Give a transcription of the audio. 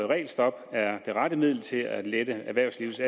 regelstop er det rette middel til at lette erhvervslivets